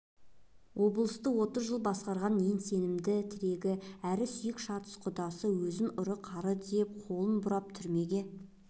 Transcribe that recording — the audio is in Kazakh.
облысты отыз жыл басқарған ең сенімді тірегі әр сүйек шатыс құдасы өзін ұры-қары деп қолын бұрап түрмеге